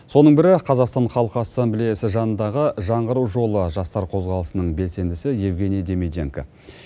соның бірі қазақстан халқы ассамблеясы жанындағы жаңғыру жолы жастар қозғалысының белсендісі евгений демиденко